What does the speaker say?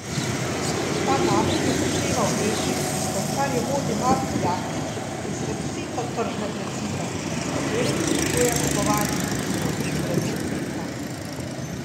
Ta namreč upošteva v letih, odkar jo vodi Marko Jaklič, izrazito tržne principe, s katerimi spodbuja kupovanje tudi zdravil brez recepta.